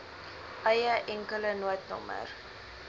eie enkele noodnommer